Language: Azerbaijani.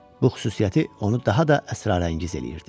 Bu xüsusiyyəti onu daha da əsrarəngiz eləyirdi.